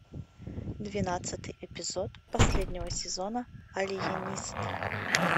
двенадцатый эпизод последнего сезона алиенист